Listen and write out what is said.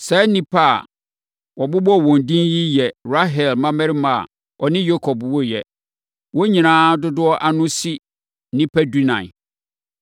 Saa nnipa a wɔabobɔ wɔn din yi yɛ Rahel mmammarima a ɔne Yakob woeɛ. Wɔn nyinaa dodoɔ ano si nnipa dunan.